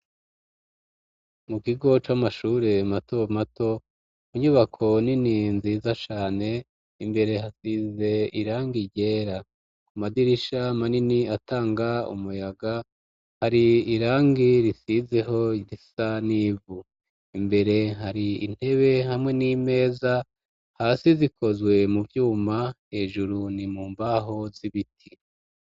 Mu kigo c'amashure mato mato munyubako ni ni nziza cane imbere hasize irangi ryera, ku madirisha manini atanga umuyaga hari irangi risizeho risa n'ivu, imbere hari intebe hamwe n'imeza a hasi zikozwe mu vyuma hejuru ni mu mbaho z'ibiti.